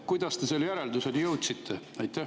Kuidas te selle järelduseni jõudsite?